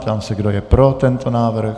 Ptám se, kdo je pro tento návrh.